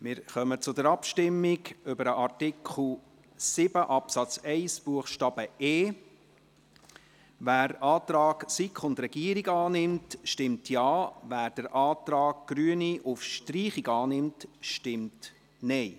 Wir kommen zur Abstimmung über den Artikel 7 Absatz 1 Buchstabe e. Wer den Antrag von SiK und Regierung annimmt, stimmt Ja, wer den Antrag der Grünen auf Streichung annimmt, stimmt Nein.